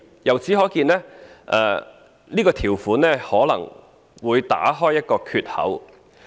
由此可見，這項條款可能會打開一個缺口。